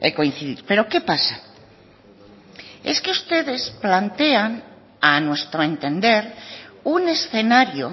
coincidir pero qué pasa es que ustedes plantean a nuestro entender un escenario